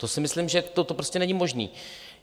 To si myslím, že to prostě není možné.